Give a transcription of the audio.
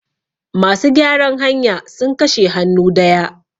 masu gyaran hanya sun kashe hannu daya